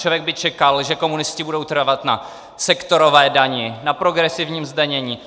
Člověk by čekal, že komunisté budou trvat na sektorové dani, na progresivním zdanění.